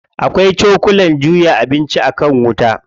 Akwai cokulan juya abinci a kan wuta.